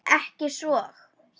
Ekki svo.